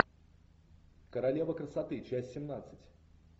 королева красоты часть семнадцать